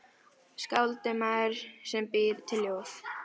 Skáld er maður sem býr til ljóð.